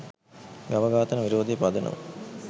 ගව ඝාතන විරෝධයේ පදනම